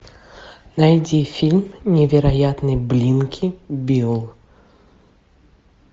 найди фильм невероятный блинки билл